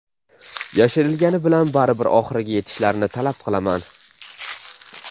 Yashirishgani bilan baribir oxiriga yetishlarini talab qilaman.